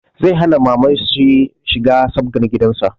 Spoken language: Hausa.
Zai hana mamanshi shiga sabgar gidanshi